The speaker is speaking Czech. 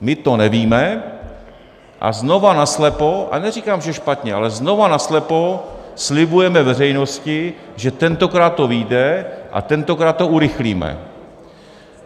My to nevíme, a znovu naslepo, a neříkám, že špatně, ale znova naslepo slibujeme veřejnosti, že tentokrát to vyjde a tentokrát to urychlíme.